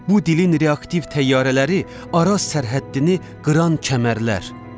Bu dilin reaktiv təyyarələri Araz sərhəddini qıran kəmərlər.